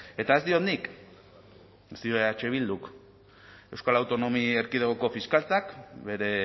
ea ez diot nik ez dio eh bilduk euskal autonomi erkidegoko fiskaltzak bere